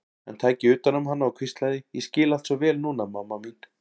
Hann tæki utan um hana og hvíslaði: Ég skil allt svo vel núna, mamma mín.